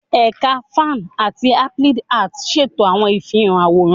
Ẹka Fine ati Applied Arts ṣeto awọn ifihan aworan